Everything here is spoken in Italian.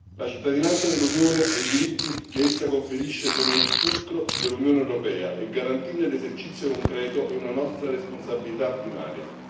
La cittadinanza dell'Unione e i diritti che essa conferisce sono il fulcro dell'Unione europea, e garantirne l'esercizio concreto è una nostra responsabilità primaria.